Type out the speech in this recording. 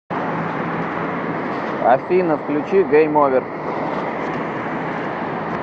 афина включи гейм овер